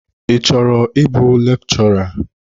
Ị chọrọ ịbụ lekchọra?